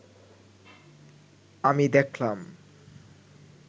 আমি দেখলাম